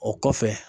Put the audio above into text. O kɔfɛ